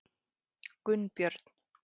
Gunnbjörn